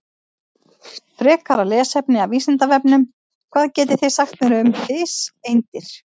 Frekara lesefni af Vísindavefnum: Hvað getið þið sagt mér um fiseindir?